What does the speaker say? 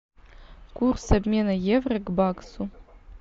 курс обмена евро к баксу